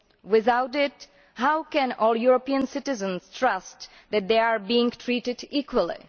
Without it, how can all European citizens trust that they are being treated equally?